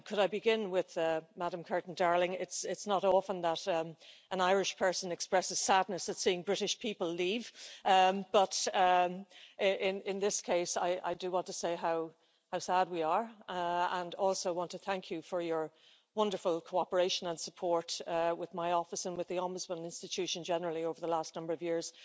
Could I begin with Ms Kirton Darling it's not often that an Irish person expresses sadness at seeing British people leave, but in this case I do want to say how sad we are, and also want to thank you for your wonderful cooperation and support with my office, and with the Ombudsman institution generally over the last number of years.